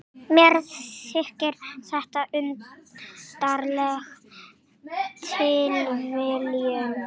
Mér þykir þetta undarleg tilviljun.